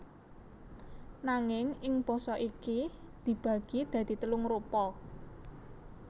Nanging ing basa iki dibagi dadi telung rupa